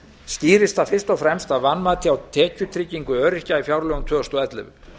skýrist það fyrst og fremst af vanmati á tekjutryggingu öryrkja í fjárlögum tvö þúsund og ellefu